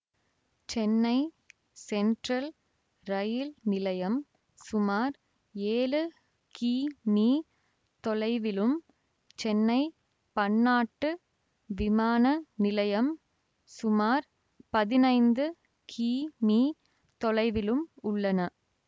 Chennai central ரயில் நிலையம் சுமார் ஏழு கி மீ தொலைவிலும் சென்னை பன்னாட்டு விமான நிலையம் சுமார் பதினைந்து கி மீ தொலைவிலும் உள்ளன